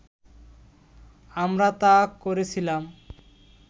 আমরা তা করেছিলাম